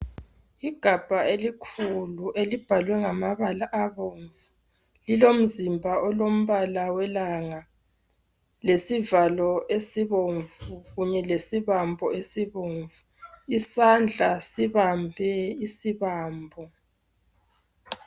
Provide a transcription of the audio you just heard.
Igabha elikhulu elomzimba olombala welanga lesivalo esibomnvu kunye lesibambo esibomnvu , isandla sibambe isibambo.